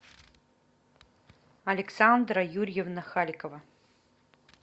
александра юрьевна халикова